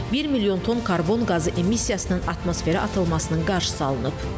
1 milyon ton karbon qazı emissiyasının atmosferə atılmasının qarşısı alınıb.